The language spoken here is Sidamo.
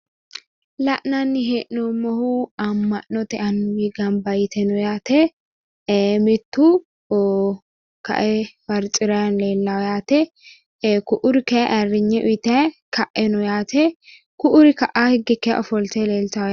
La'nanni hee'noommohu amma'note annuwi gamba yite no yaate mittu ka"e faricrayi leellawo yaate ku'uri kayii ayiirinye uyiitayi ka'e no yaate ku'uri ka'a higge ofolte leeltawo yaate.